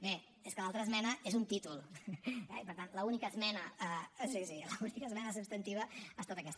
bé és que l’altra esmena és un títol eh i per tant l’única esmena sí sí l’única esmena substantiva ha estat aquesta